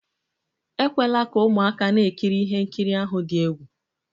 Ekwela ka ụmụaka na-ekiri ihe nkiri ahụ dị egwu!